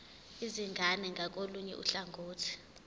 izingane ngakolunye uhlangothi